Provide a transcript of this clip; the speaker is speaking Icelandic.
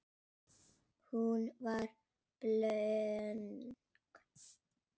Hún var blönk.